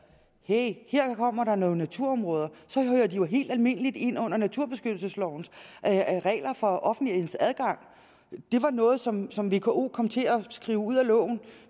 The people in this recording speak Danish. at her kommer der nogle naturområder og de jo helt almindeligt ind under naturbeskyttelseslovens regler for offentlighedens adgang det var noget som som vko kom til at skrive ud af loven